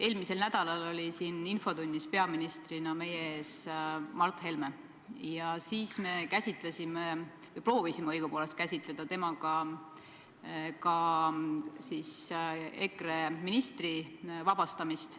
Eelmisel nädalal oli infotunnis peaministrina meie ees Mart Helme ja siis me käsitlesime – või õigupoolest proovisime käsitleda – ka EKRE ministri ametist vabastamist.